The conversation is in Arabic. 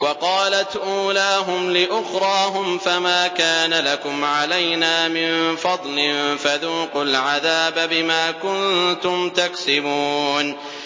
وَقَالَتْ أُولَاهُمْ لِأُخْرَاهُمْ فَمَا كَانَ لَكُمْ عَلَيْنَا مِن فَضْلٍ فَذُوقُوا الْعَذَابَ بِمَا كُنتُمْ تَكْسِبُونَ